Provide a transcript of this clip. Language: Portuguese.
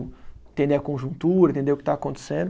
Entender a conjuntura, entender o que está acontecendo.